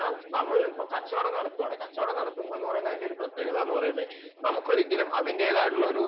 എന്നാൽ നമ്മൾ ഇപ്പോൾ ഒരു കച്ചവടം നടത്തുകയാണ് കച്ചവടം നടത്തുക എന്ന് പറഞ്ഞാൽ അതിന്റെ പ്രത്യേകത എന്ന് പറഞ്ഞാൽ നമുക്ക് ഒരിക്കലും അതിന്റേതായിട്ടുള്ള ഒരു